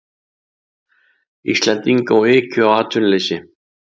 Íslendinga og ykju á atvinnuleysi.